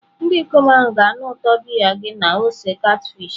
Ndị ikom ahụ ga-anụ ụtọ biya gị na ose catfish.